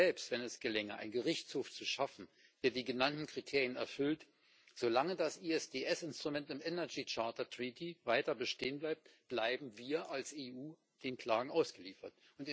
Selbst wenn es gelänge, einen Gerichtshof zu schaffen, der die genannten Kriterien erfüllt Solange das ISDS Instrument im Energiechartavertrag weiter bestehen bleibt, bleiben wir als EU Klagen ausgeliefert.